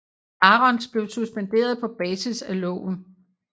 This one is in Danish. Arons blev suspenderet på basis af loven